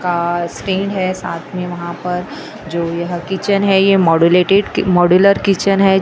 का स्टॅन्ड है साथ में वहां पर जो यह किचन है यह मोडूलेटेड मोडुलर किचन है।